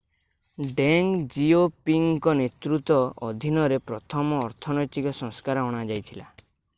ଡେଙ୍ଗ ଜିଓପିଙ୍ଗଙ୍କ ନେତୃତ୍ୱ ଅଧିନରେ ପ୍ରଥମ ଅର୍ଥନୈତିକ ସଂସ୍କାର ଅଣାଯାଇଥିଲା